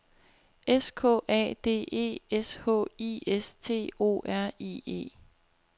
S K A D E S H I S T O R I E